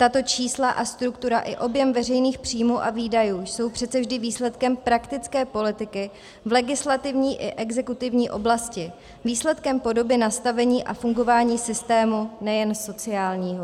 Tato čísla a struktura i objem veřejných příjmů a výdajů jsou přece vždy výsledkem praktické politiky v legislativní i exekutivní oblasti, výsledkem podoby nastavení a fungování systému nejen sociálního.